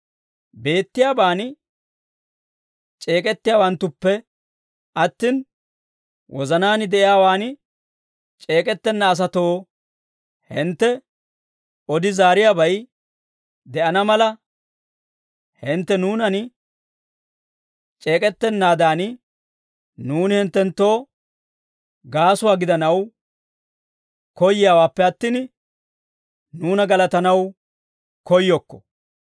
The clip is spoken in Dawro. Beettiyaaban c'eek'ettiyaawanttuppe attin, wozanaan de'iyaawan c'eek'ettenna asatoo hintte odi zaariyaabay de'ana mala, hintte nuunan c'eek'ettanaadan, nuuni hinttenttoo gaasuwaa gidanaw koyyiyaawaappe attin, nuuna galatanaw koyyokko.